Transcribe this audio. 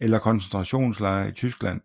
eller koncentrationslejre i Tyskland